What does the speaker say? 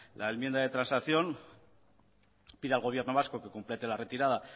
la enmienda de transacción pide al gobierno vasco que complete la retirada